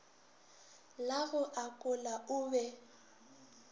la go akola o be